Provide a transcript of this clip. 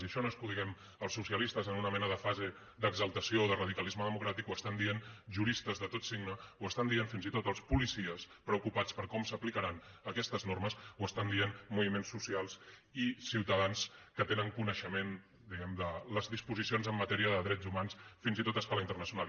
i això no és que ho diguem els socialistes en una mena de fase d’exaltació de radicalisme democràtic ho estan dient juristes de tot signe ho estan dient fins i tot els policies preocupats per com s’aplicaran aquestes normes ho estan dient moviments socials i ciutadans que tenen coneixement diguem ne de les disposicions en matèria de drets humans fins i tot a escala internacional